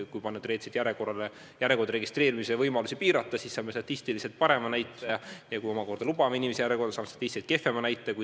Kui järjekorda registreerimise võimalusi piirata, siis saame statistiliselt parema näitaja, kui lubame inimesi järjekorda, siis saame statistiliselt kehvema näitaja.